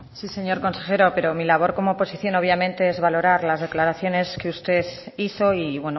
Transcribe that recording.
sí señor consejero pero mi labor como oposición obviamente es valorar las declaraciones que usted hizo y